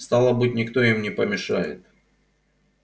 стало быть никто им не помешает